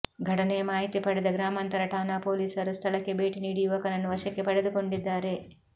ಘಟನೆಯ ಮಾಹಿತಿ ಪಡೆದ ಗ್ರಾಮಾಂತರ ಠಾಣಾ ಪೊಲೀಸರು ಸ್ಥಳಕ್ಕೆ ಭೇಟಿ ನೀಡಿ ಯುವಕನನ್ನು ವಶಕ್ಕೆ ಪಡೆದುಕೊಂಡಿದ್ದಾರೆ